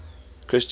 christian